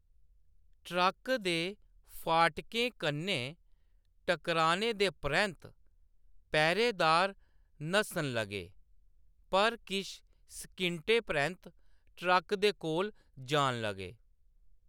Track दे फाटकें कन्नै टकराने दे परैंत्त पैह्‌‌रेदार नस्सन लगे, पर किश सकिंटें परैंत्त ट्रक्क दे कोल जान लगे।